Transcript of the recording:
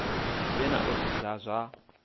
vhe na ofisi dza zwa